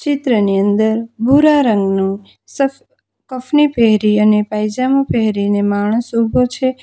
ચિત્ર ની અંદર ભૂરા રંગનું સફ કફની પહેરી અને પાયજામો પહેરીને માણસ ઉભો છે.